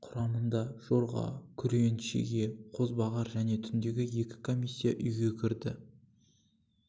құрамында жорға күрең шеге қозбағар және түндегі екі комиссия үйге кірді